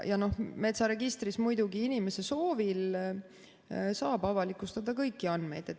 Metsaregistris muidugi inimese soovil saab avalikustada kõiki andmeid.